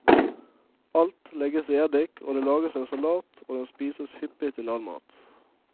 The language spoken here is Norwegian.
Alt legges i eddik, og det lages en salat og den spises hyppig til all mat.